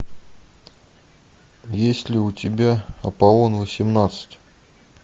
есть ли у тебя аполлон восемнадцать